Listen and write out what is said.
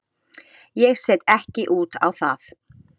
Ég set ekki út á það.